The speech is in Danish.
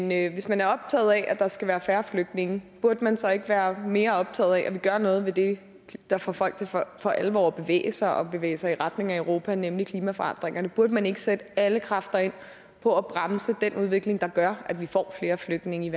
men hvis man er optaget af der skal være færre flygtninge burde man så ikke være mere optaget af at vi gør noget ved det der får folk til for alvor at bevæge sig og bevæge sig i retning af europa nemlig klimaforandringerne burde man ikke sætte alle kræfter ind på at bremse den udvikling der gør at vi får flere flygtninge i